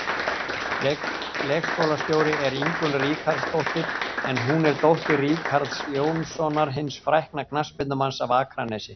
Leikskólastjóri er Ingunn Ríkharðsdóttir en hún er dóttir Ríkharðs Jónssonar, hins frækna knattspyrnumanns af Akranesi.